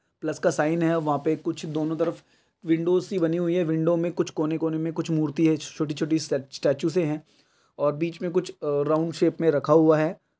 Plus का shine है। वहा पे कुछ दोनों तरफ विंडोज़ सी बनी हुई है। विंडो मे कुछ कोने कोने मे कुछ मूर्ति है। छोटे छोटे से स्टेचुएस ह। और बीच मे कुछ आ राउंड शेप मे रखा हुवा है।